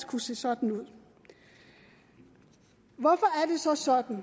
kunne se sådan ud hvorfor er det så sådan